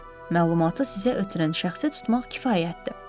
Məlumatı sizə ötürən şəxsi tutmaq kifayətdir.